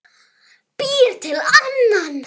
Býr til annan.